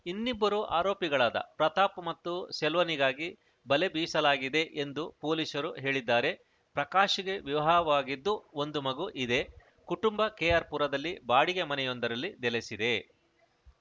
ಇನ್ನಿಬ್ಬರು ಆರೋಪಿಗಳಾದ ಪ್ರತಾಪ್‌ ಮತ್ತು ಸೆಲ್ವನಿಗಾಗಿ ಬಲೆ ಬೀಸಲಾಗಿದೆ ಎಂದು ಪೊಲೀಸರು ಹೇಳಿದ್ದಾರೆ ಪ್ರಕಾಶ್‌ಗೆ ವಿವಾಹವಾಗಿದ್ದು ಒಂದು ಮಗು ಇದೆ ಕುಟುಂಬ ಕೆಆರ್‌ಪುರದಲ್ಲಿ ಬಾಡಿಗೆ ಮನೆಯೊಂದರಲ್ಲಿ ನೆಲೆಸಿದೆ